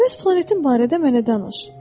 Bəs planetin barədə mənə danış.